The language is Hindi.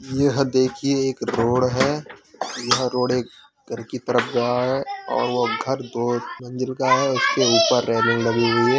यह देखिये एक रोड है। यह रोड एक घर की तरफ जा रहा है और घर दो मंजिल का हैं एक के ऊपर रैलिंग लगी हुई है।